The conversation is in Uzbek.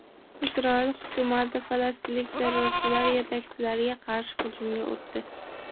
Isroil hukumati falastinlik terrorchilar yetakchilariga qarshi hujumga o‘tdi.